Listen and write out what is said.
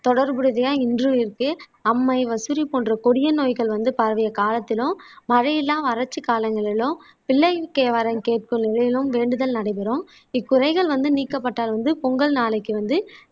தொடர்புடையதையா இன்றும் இருக்கு அம்மை போன்ற கொடிய நோய்கள் வந்து பரவிய காலத்திலும் மழையில்லா வறட்சி காலங்களிலும் பிள்ளை வரம் கேக்கும் நிலையிலும் வேண்டுதல் நடைபெறும் இக்குறைகள் வந்து நீக்கப்பட்டால் வந்து பொங்கல் நாளைக்கு வந்து